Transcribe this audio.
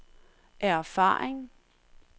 erfaring